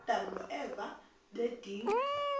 uadam noeva ngedinga